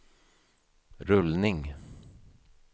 rullning